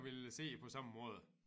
Ville se det på samme måde